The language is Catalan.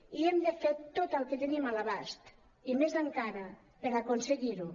i hem de fer tot el que tenim a l’abast i més encara per aconseguir ho